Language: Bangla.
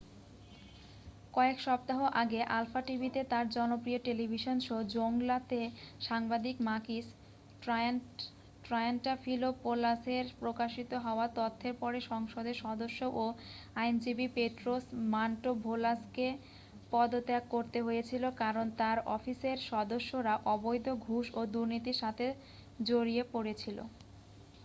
"কয়েক সপ্তাহ আগে আলফা টিভিতে তার জনপ্রিয় টেলিভিশন শো "জৌংলা" তে সাংবাদিক মাকিস ট্রায়ান্টাফিলোপোলাসের প্রকাশিত হওয়া তথ্যের পরে সংসদের সদস্য ও আইনজীবী পেট্রোস মান্টোভালোসকে পদত্যাগ করতে হয়েছিল কারণ তার অফিসের সদস্যরা অবৈধ ঘুষ ও দুর্নীতির সাথে জড়িয়ে পড়েছিল।